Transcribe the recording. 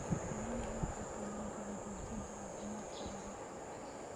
Caanaha ayaa kaa caawin kara xoojinta caafimaadka carruurta.